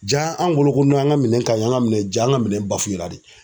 Ja an bolo ko an ka minɛn ka ɲi an ka minɛn ka ɲi ja an ka minɛn la de.